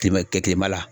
Kɛmɛ la